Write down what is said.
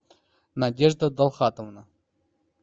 надежда далхатовна